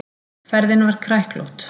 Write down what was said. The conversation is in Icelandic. Ferðin var kræklótt.